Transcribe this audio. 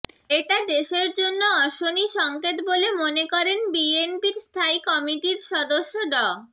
এটা দেশের জন্য অশনি সংকেত বলে মনে করেন বিএনপির স্থায়ী কমিটির সদস্য ড